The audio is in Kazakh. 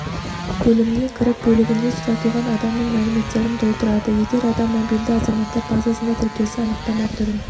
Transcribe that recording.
бөліміне кіріп бөлігінде сұратылған адамның мәліметтерін толтырады егер адам мобильді азаматтар базасында тіркелсе анықтама түрін